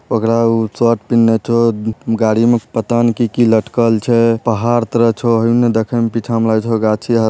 ओकरा उ शर्ट पहिन्ले छो उम्म गाड़ी में पता ने की की लटकल छै पहाड़ तरह छो हूंने देखे मे पीछा मे लगे छो गाछी आर --